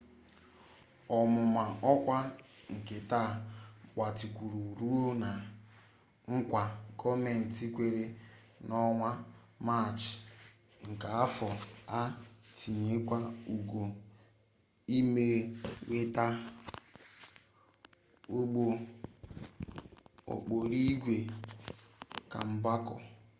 ọmụma ọkwa nke taa gbatịkwuru ruo na nkwa gọọmenti kwere n'ọnwa maachị nke afọ a itinyekwu ego inweta ụgbọ okporoigwe kemgbako